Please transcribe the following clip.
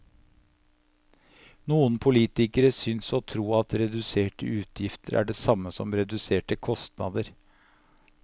Noen politikere synes å tro at reduserte utgifter er det samme som reduserte kostnader.